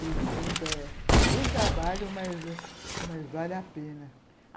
Eles vêm para... Dão trabalho, mas mas vale a pena.